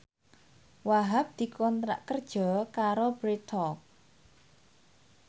Wahhab dikontrak kerja karo Bread Talk